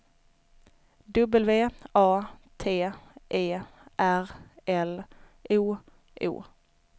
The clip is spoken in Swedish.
W A T E R L O O